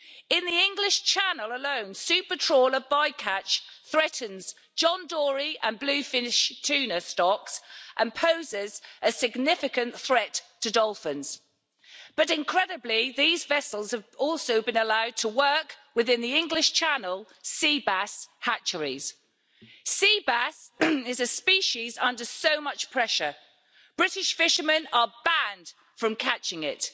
In the English Channel alone, super trawler bycatch threatens John Dory and bluefin tuna stocks and poses a significant threat to dolphins, but incredibly these vessels have also been allowed to work within the English Channel sea bass hatcheries. Sea bass is a species under so much pressure. British fishermen are banned from catching it.